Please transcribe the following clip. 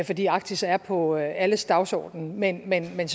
fordi arktis er på alles dagsorden men men jeg